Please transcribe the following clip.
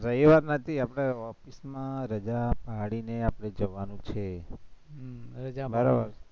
રવિવાર નથી એટલે office માં રજા પાડીને આપણે જવાનું છે,